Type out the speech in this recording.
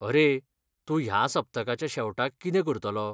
अरे, तूं ह्या सप्तकाच्या शेवटाक कितें करतलो?